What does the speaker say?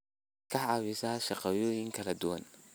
waxaad ka caawisaa shaqooyin kala duwan.